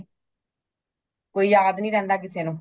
ਕੋਈ ਯਾਦ ਨਹੀਂ ਰਹਿੰਦਾ ਕਿਸੇ ਨੂੰ